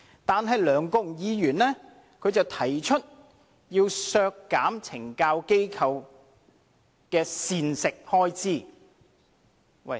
可是，梁國雄議員卻要提出削減懲教機構的膳食開支。